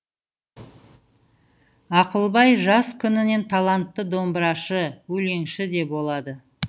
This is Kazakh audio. ақылбай жас күнінен талантты домбырашы өлеңші де болады